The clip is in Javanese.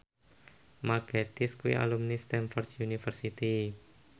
Mark Gatiss kuwi alumni Stamford University